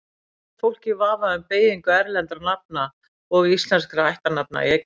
Oft er fólk í vafa um beygingu erlendra nafna og íslenskra ættarnafna í eignarfalli.